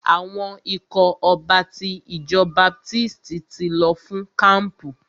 Àwọn ikọ̀ ọba ti ìjọ baptisti ti lọ fún kampu.